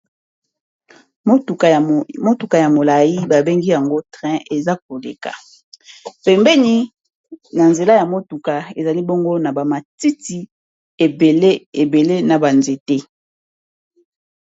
Motuka ya molayi babengi yango train eza koleka pembeni na nzela ya motuka ezali bongo na ba matiti ebele na ba nzete